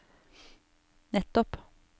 nettopp